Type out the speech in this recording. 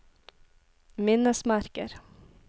minnesmerker